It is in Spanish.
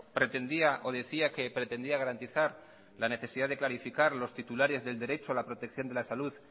pretendía o decía que pretendía garantizar la necesidad de clarificar los titulares del derecho a la protección de la salud